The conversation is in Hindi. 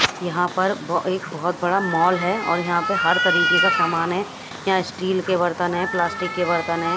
यहां पर एक बहोत बड़ा मॉल है और यहां पे हर तरीके का समान है यहां स्टील के बर्तन है प्लास्टिक के बर्तन है।